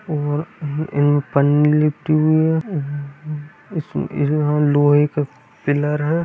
और एक पन्नी मे लिपटी हुई है इसमे यहां लोहे के पिलर हैं।